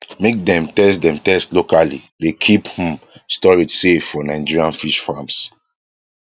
make dem test dem test locally dey keep um storage safe for nigerian fish farms